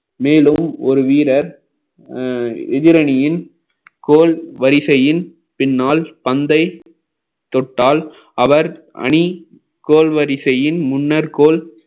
மேலும் ஒரு வீரர் அஹ் எதிரணியின் கோள் வரிசையின் பின்னால் பந்தை தொட்டால் அவர் அணி கோல் வரிசையின் முன்னர் கோல்